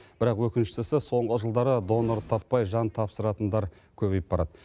бірақ өкініштісі соңғы жылдары донор таппай жан тапсыратындар көбейіп барады